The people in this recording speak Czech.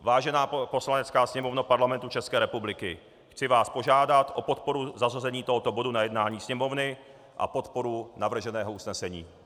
Vážená Poslanecká sněmovno Parlamentu České republiky, chci vás požádat o podporu zařazení tohoto bodu na jednání Sněmovny a podporu navrženého usnesení.